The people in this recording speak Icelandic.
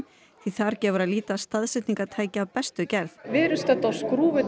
því þar gefur að líta staðsetningartæki af bestu gerð við erum stödd á